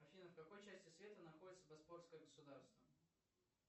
афина в какой части света находится босфорское государство